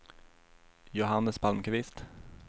Johannes Palmqvist